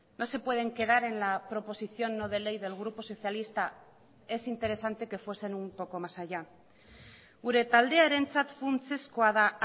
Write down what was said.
no se pueden quedar en la proposición no de ley del grupo socialista es interesante que fuesen un poco más allá gure taldearentzat funtsezkoa da